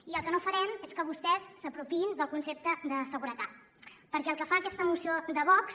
i el que no farem és que vostès s’apropiïn del concepte de seguretat perquè el que fa aquesta moció de vox